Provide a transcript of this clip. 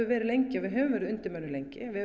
verið lengi við höfum verið undirmönnuð lengi við